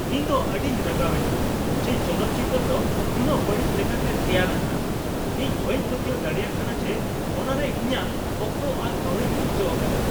ᱤᱧ ᱫᱚ ᱟᱹᱰᱤᱧ ᱨᱟᱸᱜᱟᱣᱮᱱᱟ ᱡᱮ ᱪᱚᱞᱚᱛ ᱪᱤᱛᱟᱹᱨ ᱫᱚ ᱱᱩᱱᱟᱹᱜ ᱵᱟᱹᱲᱤᱡ ᱞᱮᱠᱟᱛᱮ ᱛᱮᱭᱟᱨ ᱟᱠᱟᱱᱟ ᱾ ᱤᱧ ᱵᱟᱹᱧ ᱯᱟᱹᱛᱭᱟᱹᱣ ᱫᱟᱲᱮᱭᱟᱜ ᱠᱟᱱᱟ ᱡᱮ ᱚᱱᱟᱨᱮ ᱤᱧᱟᱜ ᱚᱠᱛᱚ ᱟᱨ ᱠᱟᱹᱣᱰᱤᱧ ᱱᱚᱥᱴᱚ ᱟᱠᱟᱫᱟ ᱾